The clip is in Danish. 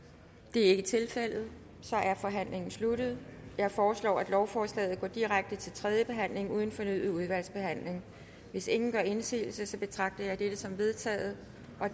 det er ikke tilfældet og så er forhandlingen sluttet jeg foreslår at lovforslaget går direkte til tredje behandling uden fornyet udvalgsbehandling hvis ingen gør indsigelse betragter jeg dette som vedtaget